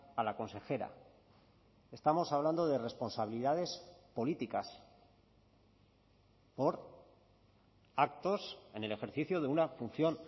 a la consejera estamos hablando de responsabilidades políticas por actos en el ejercicio de una función